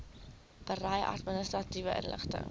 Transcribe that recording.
berei administratiewe inligting